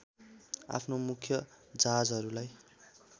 आफ्नो मुख्य जहाजहरूलाई